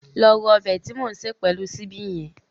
Lọ ro ọbẹ̀ tí mò ń sè pẹ̀lú ṣíbí hẹn